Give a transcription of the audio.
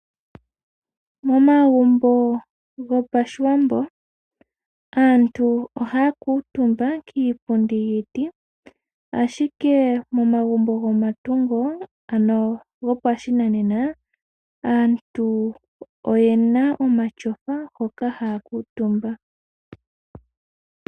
Momagumbo gopashiwambo, aantu ohaya kuuntumba kiipundi yiiti. Ashike momagumbo gopashinanena, aantu oyena omatyofa hoka haya kuuntumba.